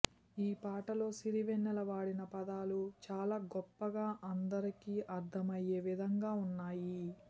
ఈ పాటలో సిరివెన్నెల వాడిన పదాలు చాలా గొప్పగా అందరికీ అర్థమయ్యే విధంగా ఉన్నాయి